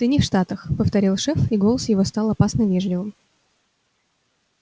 ты не в штатах повторил шеф и голос его стал опасно вежливым